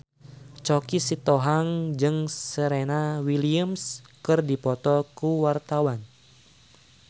Choky Sitohang jeung Serena Williams keur dipoto ku wartawan